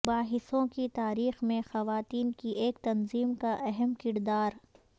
مباحثوں کی تاریخ میں خواتین کی ایک تنظیم کا اہم کردار